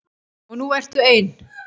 Og nú ertu ein.